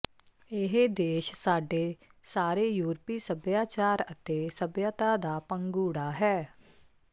ਇਹ ਦੇਸ਼ ਸਾਡੇ ਸਾਰੇ ਯੂਰਪੀ ਸਭਿਆਚਾਰ ਅਤੇ ਸਭਿਅਤਾ ਦਾ ਪੰਘੂੜਾ ਹੈ